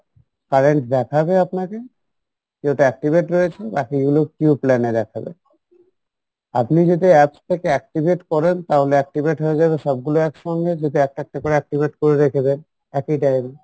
তারা দেখাবে আপনাকে যে এটা activate রয়েছে আপনি যদি apps থেকে activate করেন তাহলে activate হয়ে যাবে সবগুলো এক সঙ্গে যদি একটা একটা করে activate করে রেখে দেন একই time